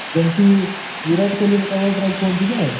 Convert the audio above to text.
ଯେମତି ବିରାଟ କୋହଲି ର covers drive କୁହନ୍ତି କି ନାହିଁ?